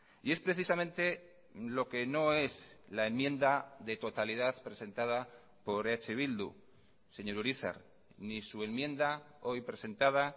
y es precisamente lo que no es la enmienda de totalidad presentada por eh bildu señor urizar ni su enmienda hoy presentada